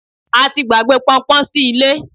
a ti gbàgbé pọnpọn sí ilé